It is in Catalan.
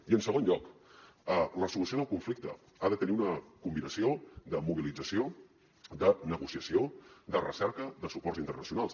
i en segon lloc la solució del conflicte ha de tenir una combinació de mobilització de negociació de recerca de suports internacionals